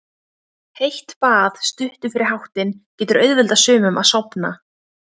Heitt bað stuttu fyrir háttinn getur auðveldað sumum að sofna.